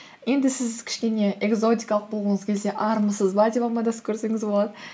енді сіз кішкене экзотикалық болғыңыз келсе армысыз ба деп амандасып көрсеңіз болады